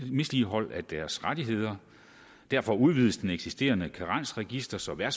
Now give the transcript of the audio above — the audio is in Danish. misligholdelse af deres rettigheder og derfor udvides den eksisterende karensregistrering